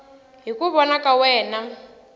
hi ku vona ka wena